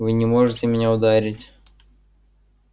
вы не можете меня ударить